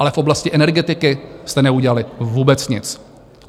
Ale v oblasti energetiky jste neudělali vůbec nic.